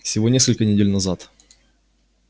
всего несколько недель назад